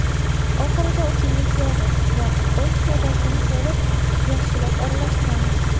Oxirida o‘simlik yog‘i va osh sodasini solib, yaxshilab aralashtiramiz.